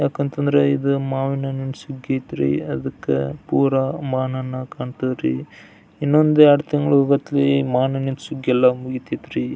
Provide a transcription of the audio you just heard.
ಯಾಕಂತಾನ್ದ್ರ ಇದು ಮಾವಿನ ಹಣ್ಣಿನ ಸುಗ್ಗಿ ಐತ್ರಿ ಅದಕ್ಕ ಪುರ ಮಾವನಣ್ಣ ಹಾಕೋಂತರೀ ಇನ್ನೊಂದ್ ಎರಡು ತಿಂಗಳಲ್ಲಿ ಮಾವಿನ ಹಣ್ಣಿನ ಸುಗ್ಗಿ ಎಲ್ಲ ಮುಗೀತೈತ್ರಿ.